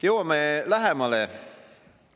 Jõuame lähemale.